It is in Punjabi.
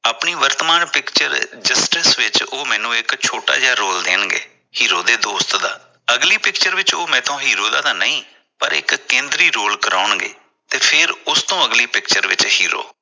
ਆਪਣੀ ਵਰਤਮਾਨ picture justice ਵਿਚ ਉਹ ਮੈਨੂੰ ਇਕ ਛੋਟਾ ਜਾ ਰੋਲ ਦੇਣਗੇ hero ਦੇ ਦੋਸਤ ਦਾ ਅਗਲੀ picture ਵਿਚ ਉਹ ਮੈਥੋ ਇਕ hero ਦਾ ਨਹੀ ਪਰ ਇਕ ਕੇਂਦਰੀ role ਕਰਾਉਣਗੇ ਤੇ ਫਿਰ ਉਸਤੋਂ ਅਗਲੀ picture ਵਿਚ hero